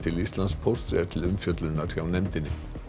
Íslandspósts er til umfjöllunar hjá nefndinni